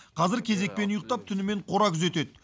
қазір кезекпен ұйықтап түнімен қора күзетеді